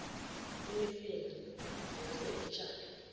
imifino ingase itshalwe